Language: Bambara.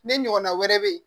Ne ɲɔgɔnna wɛrɛ be yen